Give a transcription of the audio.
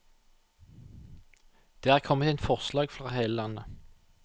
Det er kommet inn forslag fra hele landet.